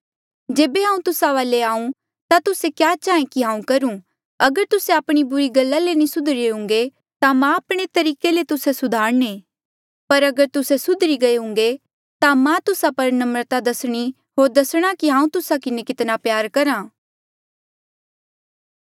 जेबे हांऊँ तुस्सा वाले आऊँ ता तुस्से क्या चाहें कि हांऊँ करूं अगर तुस्से आपणी बुरी गला ले नी सुधरी रे हुंगे ता मां आपणे तरीके ले तुस्से सुधारणे पर अगर तुस्से सुधरी गईरे हुंगे ता मां तुस्सा पर नम्रता दसणी होर दसणा कि हांऊँ तुस्सा किन्हें कितना प्यार करहा